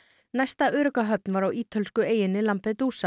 næsta örugga höfn var á ítölsku eyjunni